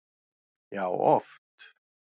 Já, oft